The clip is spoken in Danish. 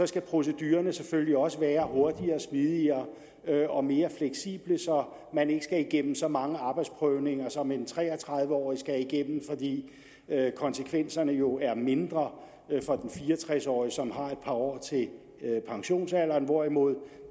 skal procedurerne selvfølgelig også være hurtigere smidigere og mere fleksible så man ikke skal igennem så mange arbejdsprøvninger som en tre og tredive årig skal igennem fordi konsekvenserne jo er mindre for den fire og tres årige som har et par år til pensionsalderen hvorimod